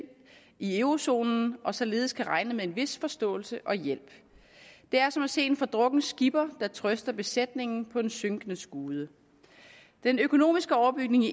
i eurozonen og således kan regne med en vis forståelse og hjælp det er som at se en fordrukken skipper der trøster besætningen på den synkende skude den økonomiske overbygning